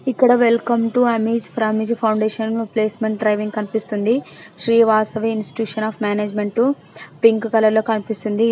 ఇక్కడ welcome to Azim Premji foundation placement drive అని కనిపిస్తుంది. Sri Vasavi institute of management pink colour లో కనిపిస్తుంది.